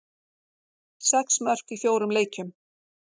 Sex mörk í fjórum leikjum.